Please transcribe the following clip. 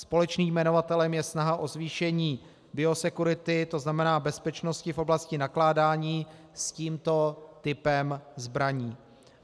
Společným jmenovatelem je snaha o zvýšení biosecurity, to znamená bezpečnosti v oblasti nakládání s tímto typem zbraní.